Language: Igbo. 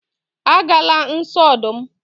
agala nso odum